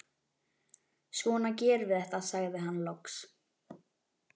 Svona gerum við þetta, sagði hann loks.